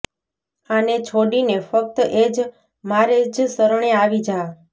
આને છોડીને ફક્ત એક મારે જ શરણે આવી જા